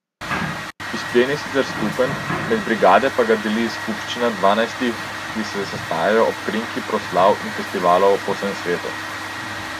Izplen je sicer skupen, med brigade pa ga deli skupščina dvanajstih, ki se sestajajo ob krinki proslav in festivalov po vsem svetu.